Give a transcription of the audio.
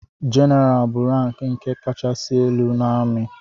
jeneral bụ rank nke kachasị elu n’ami